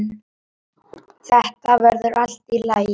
Þetta verður allt í lagi